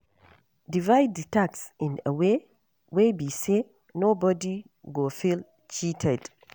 Divide the task in a way wey be say no body go feel cheated